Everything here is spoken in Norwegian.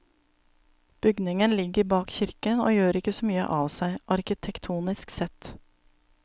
Bygningen ligger bak kirken, og gjør ikke så mye av seg, arkitektonisk sett.